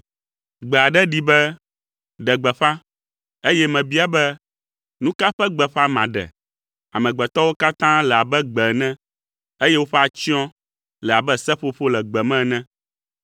Gbe aɖe ɖi be, “Ɖe gbeƒã!” eye mebia be, “Nu ka ƒe gbeƒã maɖe?” “Amegbetɔwo katã le abe gbe ene, eye woƒe atsyɔ̃ le abe seƒoƒo le gbe me ene.